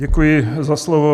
Děkuji za slovo.